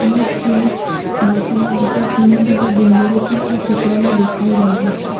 અને તેની બાજુમાં બીજા ઘણા બધા ડુંગરો પણ આ ચિત્રમાં દેખાઈ રહ્યા છે.